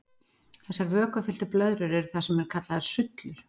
Þessar vökvafylltur blöðrur eru það sem kallað er sullur.